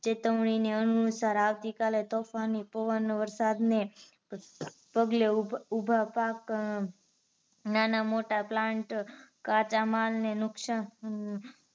ચેતવણી ને અનુસાર આવતીકાલે તોફાની પવન વરસાદ ને પગલે ઉભા પાક નાના મોટા plant કાચા માલ ને નુકસાન